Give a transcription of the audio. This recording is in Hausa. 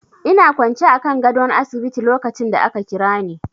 Ina kwance akan gadon asibiti lokacin da ka Kirani.